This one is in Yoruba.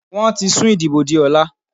Wọ́n ti sùn ìdìbò di ọ̀la.